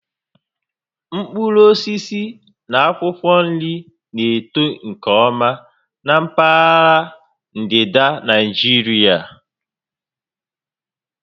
Mkpụrụ osisi na akwụkwọ nri na-eto nke ọma na mpaghara ndịda Naịjirịa